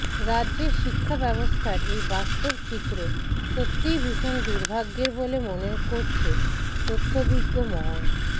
রাজ্যের শিক্ষা ব্যবস্থার এই বাস্তব চিত্র সত্যিই ভীষণ দূর্ভাগ্যের বলে মনে করছে তথ্যভিজ্ঞ মহল